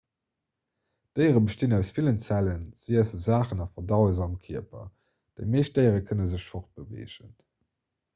déiere bestinn aus villen zellen se iesse saachen a verdaue se am kierper déi meescht déiere kënne sech fortbeweegen